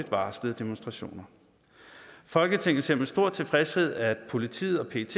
varslede demonstrationer folketinget ser med stor tilfredshed at politiet og pet